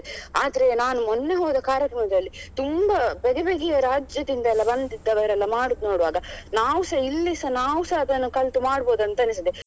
ಆದ್ರೆ ನಾನು ಮೊನ್ನೆ ಹೋದ ಕಾರ್ಯಕ್ರಮದಲ್ಲಿ ತುಂಬಾ ಬಗೆ ಬಗೆಯ ರಾಜ್ಯದಿಂದ ಎಲ್ಲ ಬಂದಿದ್ದವರೆಲ್ಲ ಮಾಡುದ್ ನೋಡುವಾಗ ನಾವು ಸ ಇಲ್ಲಿಸಾ ನಾವು ಸ ಅದನ್ನು ಕಲಿತು ಮಾಡಬೋದಂತ ಎಣಿಸ್ತದೆ